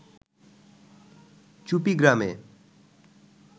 চুপী গ্রামে